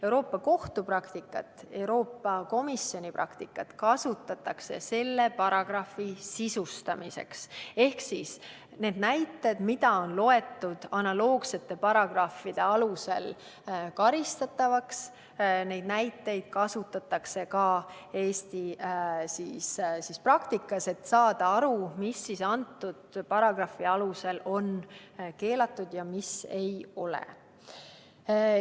Euroopa Kohtu praktikat ja Euroopa Komisjoni praktikat kasutatakse selle paragrahvi sisustamiseks: neid näiteid, mida on loetud analoogsete paragrahvide alusel karistatavaks, kasutatakse ka Eesti praktikas, et saada aru, mis selle paragrahvi alusel on keelatud ja mis ei ole.